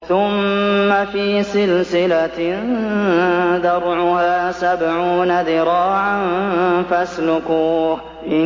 ثُمَّ فِي سِلْسِلَةٍ ذَرْعُهَا سَبْعُونَ ذِرَاعًا فَاسْلُكُوهُ